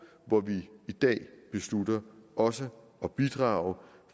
hvor vi i dag beslutter også at bidrage